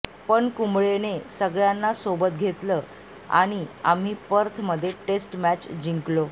पण कुंबळेने सगळ्यांना सोबत घेतलं आणि आम्ही पर्थमध्ये टेस्ट मॅच जिंकलो